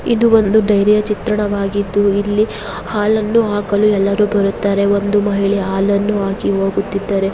ಇದು ಒಂದು ಡೈರಿಯ ಚಿತ್ರಣವಾಗಿದ್ದು ಇಲ್ಲಿ ಹಾಲನ್ನು ಹಾಕಲು ಎಲ್ಲರು ಬರುತ್ತಾರೆ.ಒಂದು ಮಹಿಳೆ ಹಾಲ್ಲನು ಹಾಕಿ ಹೋಗೀತಿದ್ದರೆ.